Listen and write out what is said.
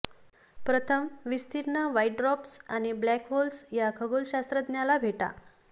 प्रथम विस्तीर्ण white dwarfs आणि ब्लॅक होल्स या खगोलशास्त्रज्ञाला भेटा